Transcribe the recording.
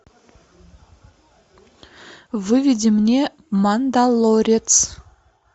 выведи мне мандалорец